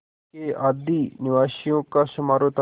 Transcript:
के आदिनिवासियों का समारोह था